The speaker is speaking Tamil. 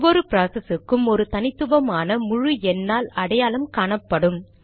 ஒவ்வொரு ப்ராசஸ் க்கும் ஒரு தனித்துவமான முழு எண்ணால் அடையாளம் காணப்படும்